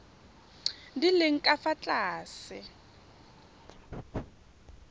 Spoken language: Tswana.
di leng ka fa tlase